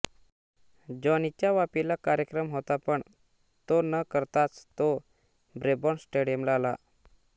जॉनीचा वापीला कार्यक्रम होता पण तो न करताच तो ब्रेबॉर्न स्टेडियमला आला